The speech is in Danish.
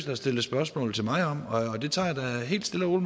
har stillet spørgsmål til mig om og det tager jeg da helt stille og